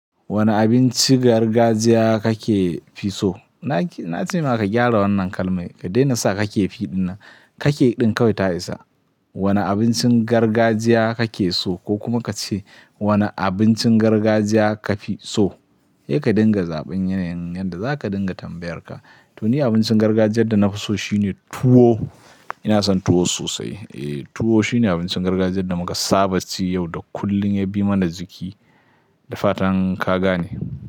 Wane abincin gargajiya kake fi so? Na ce maka gyara wannan kalmai, ka daina sa kake fi ɗina, kake ɗin kawai ta isa. Wane abincin gargajiya kake so ko kuma ka ce wane abincin gargajiya ka fi so? He ka dinga zaɓin yanayin yadda za ka dinga tambayar ka. To ni abincin gargajiyar da na fi so shine tuwo. Ina son tuwo sosai. Eh, tuwo shine abincin gargajiyar da muka saba ci yau da kullum, ya bi mana jiki. Da fatan ka gane.